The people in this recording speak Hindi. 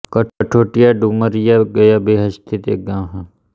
कथौटिया डुमरिया गया बिहार स्थित एक गाँव है